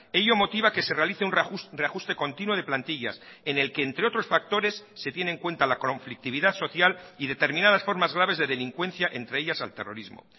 ello motiva que se realice un reajuste continuo de plantillas en el que entre otros factores se tiene en cuenta la conflictividad social y determinadas formas graves de delincuencia entre ellas al terrorismo